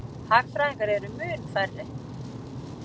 Hagfræðingar eru mun færri.